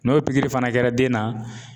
N'o pikiri fana kɛra den na